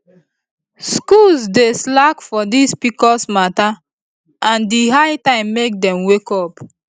schools dey slack for this pcos matter and e high time make dem wake up